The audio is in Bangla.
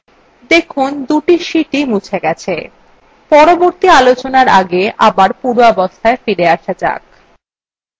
দেখুন দুটি sheetswe মুছে গেছে পরবর্তী আলোচনার আগে আবার পূর্বাবস্থায় ফিরে আসা যাক